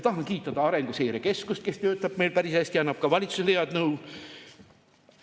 Tahan kiita Arenguseire Keskust, kes töötab meil päris hästi ja annab ka valitsusele head nõu.